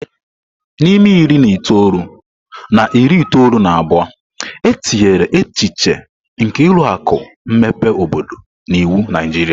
N'ime iri na itoolu na iri itoolu na abụọ, e tinyere echiche nke ụlọ akụ mmepe obodo n'iwu Naijiria.